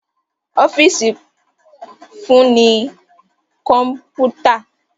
Ọ́fíìsì fún ní kọ̀mpútà